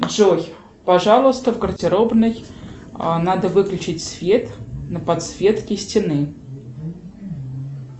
джой пожалуйста в гардеробной надо выключить свет на подсветке стены